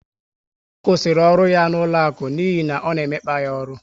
Ọ kwụsịrị ọrụ ya n'ụlọaku n'ihi ọ na emekpa ya ọrụ